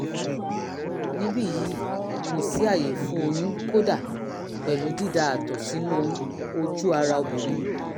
níbí yìí kò sí àyè fún oyún kódà pẹ̀lú dída àtọ̀ sínú ojú ara obìnrin